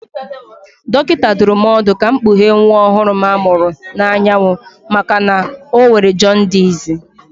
Dọkịta dụrụ m ọdụ ka m kpughee nwa ọhụrụ m a mụrụ n'anyanwụ maka na ọ nwere jọndisị